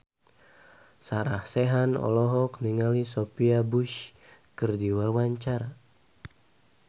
Sarah Sechan olohok ningali Sophia Bush keur diwawancara